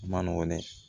A ma nɔgɔn dɛ